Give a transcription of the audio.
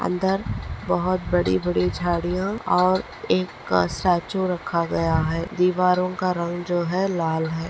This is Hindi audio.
अंदर बहुत बड़ी बड़ी झाड़ीया और एक स्टाचू रखा गया है दिवारो का रंग जो है लाल है।